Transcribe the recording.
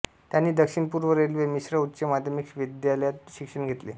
त्यांनी दक्षिण पूर्व रेल्वे मिश्र उच्च माध्यमिक विद्यालयात शिक्षण घेतले